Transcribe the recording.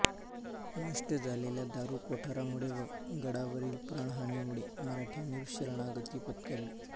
नष्ट झालेल्या दारुकोठारामुळे व गडावरील प्राणहानीमुळे मराठ्यांनी शरणागती पत्करली